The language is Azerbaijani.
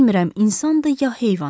Bilməyirəm insandır ya heyvan.